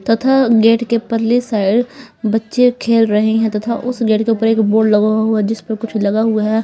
तथा गेट के पल्ली साइड बच्चे खेल रहे हैं तथा उस गेट के ऊपर एक बोर्ड लगा हुआ है जिस पर कुछ लगा हुआ है।